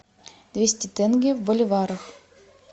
двести тенге в боливарах